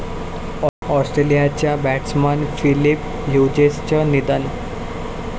ऑस्ट्रेलियाचा batsman Phillip ह्युजेसचं निधन